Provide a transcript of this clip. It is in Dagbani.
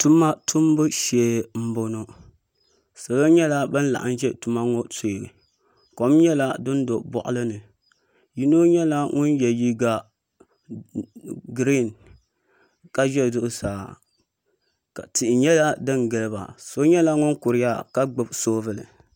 Tuma tumbu shee n boŋo salo nyɛla bin laɣam ʒɛ tuma ŋo shee kom nyɛla din di boɣali ni yino nyɛla ŋun yɛ liiga giriin ka ʒɛ zuɣusaa ka tuhi nyɛla din giliba so nyɛla ŋun kuriya ka gbubi soobuli